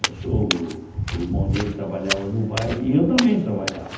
Meu sogro, o irmão dele trabalhava no baile e eu também trabalhava.